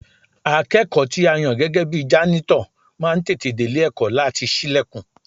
Akẹ́kọ̀ọ́ tí a yàn gẹ́gẹ́ bi jánítọ̀ máa ń tètè délé ẹ̀kọ́ láti ṣílẹ̀kùn